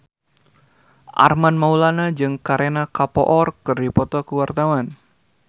Armand Maulana jeung Kareena Kapoor keur dipoto ku wartawan